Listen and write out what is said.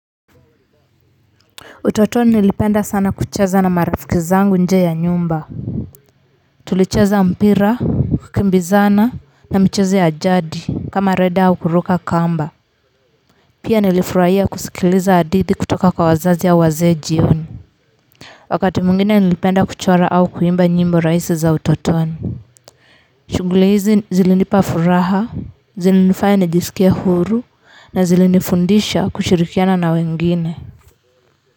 Utotoni nilipenda sana kucheza na marafiki zangu nje ya nyumba tulicheza mpira kukimbizana na michezo ya jadi kama rede au kuruka kamba pia nilifurahia kusikiliza hadithi kutoka kwa wazazi au wazee jioni wakati mwingine nilipenda kuchora au kuimba nyimbo rahisi za utotoni shughuli hizi zilinipa furaha zilinifanya nijisikie huru na zilinifundisha kushirikiana na wengine.